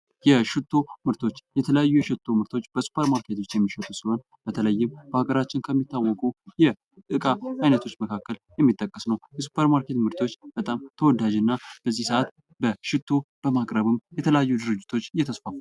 የሽቶ ምርቶች የተለያዩ የሽቶ ምርቶችበሱፐር ማርኬቶች የሚሸጡ ሲሆን በተለይም በሀገራችን ከሚታወቁ የእቃ አይነቶች መካከል የሚጠቀስ ነው። የሱፐር ማርኬት ምርቶች በጣም ተወዳጅና በዚህ ሰአት በሽቶ በማቅረቡ የተለያዩ ድርጅቶች እየተስፋፉ ነው።